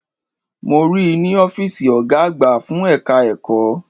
Mo ríi ní Ófììsì Ọ̀gá àgbà fún ẹ̀ka ẹ̀kọ́